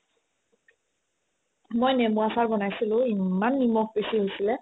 মই নেমো আচাৰ বনাইছিলো ইমান নিমখ বেচি হৈছিলে